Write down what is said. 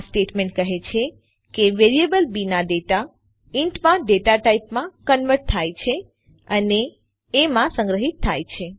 આ સ્ટેટમેન્ટ કહે છે કે વેરિયેબલ બી ના ડેટા ઇન્ટ માં ડેટા ટાઇપમાં કન્વર્ટ થાય છે અને અને એ માં સંગ્રહિત થાય છે